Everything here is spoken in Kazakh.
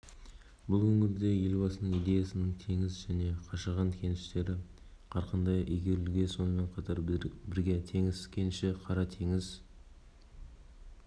бұл өңірде елбасының идеясымен теңіз және қашаған кеніштері қарқынды игерілуде сонымен бірге теңіз кенішінен қара теңіз